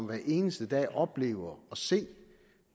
hver eneste dag oplever at se